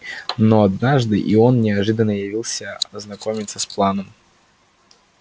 но однажды и он неожиданно явился ознакомиться с планом